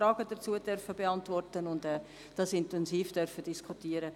Wir durften auch viele Fragen dazu beantworten und das intensiv diskutieren.